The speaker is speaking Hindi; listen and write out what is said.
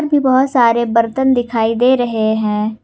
ये बहोत सारे बर्तन दिखाई दे रहे हैं।